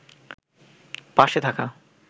পাশে থাকা